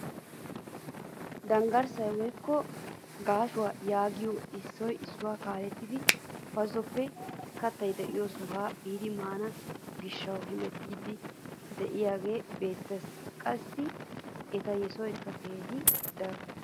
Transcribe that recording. Dangarssaa woykko gaashshuwaa yaagiyoogee issoy issuwaa kaalettidi bazoppe kattay de'iyoo sohuwaa biidi maana giishshawu hemettiidi de'iyaage beettees. qassi eta yesoyikka keehippe daro.